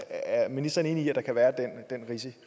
er ministeren enig i at der kan være den